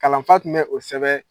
Kalan fa tun bɛ o sɛbɛ